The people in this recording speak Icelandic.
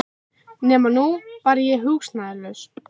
Nema að nú var ég húsnæðislaus.